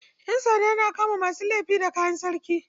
Yansanda na kama masu aika laifi da kayan sarki.